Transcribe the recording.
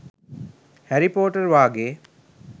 හැරී පොටර් වාගේ